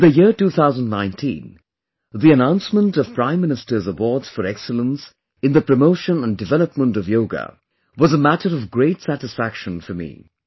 In the year 2019, the announcement of Prime Minister's Awards for excellence in the promotion and development of yoga was a matter of great satisfaction for me